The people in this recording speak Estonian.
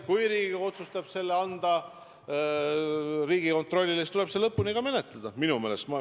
Kui Riigikogu otsustab selle ülesande anda Riigikontrollile, siis tuleb see minu meelest lõpuni menetleda.